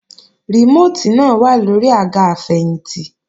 Rìmóòtì náà wà lóri àga àfẹ̀yìntì